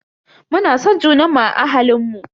Muna son junanmu a ahalinmu.